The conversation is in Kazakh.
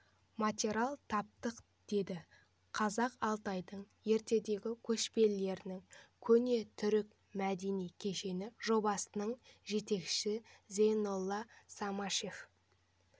материал таптық деді қазақ алтайының ертедегі көшпенділерінің көне түркі мәдени кешені жобасының жетекшісі зайнолла самашев